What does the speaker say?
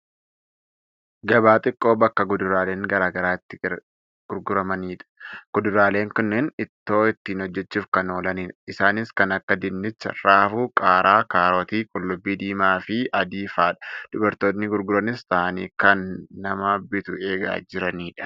Gabaa xiqqoo bakka kuduraaleen garaagaraa itti gurguramanidha. Kuduraaleen kunneen ittoo ittiin hojjachuuf kan oolanidha. Isaanis kan akka dinnichaa, raafuu, qaaraa, kaarotii, qullubbi diimaafi adii fa'adha. Dubartoonni gurguranis taa'anii kan nama bitu eegaa jiranidha.